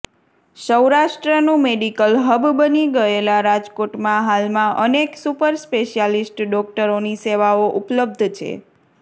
સૌરાષ્ટ્રનું medical hub બની ગયેલા રાજકોટમાં હાલમાં અનેક સુપર સ્પેશ્યાલીસ્ટ ડોકટરોની સેવાઓ ઉપલબ્ધ છે